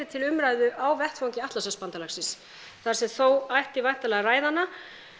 til umræðu á vettvangi Atlantshafsbandalagsins þar sem þó ætti væntanlega að ræða hana